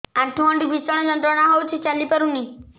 ଆଣ୍ଠୁ ଗଣ୍ଠି ଭିଷଣ ଯନ୍ତ୍ରଣା ହଉଛି ଚାଲି ପାରୁନି